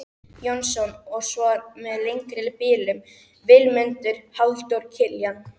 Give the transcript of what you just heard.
Jónsson og svo með lengri bilum, Vilmundur, Halldór Kiljan.